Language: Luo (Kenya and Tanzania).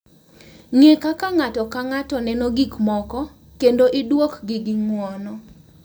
Ng’e kaka ng’ato ka ng’ato neno gik moko kendo iduokgi gi ng’uono.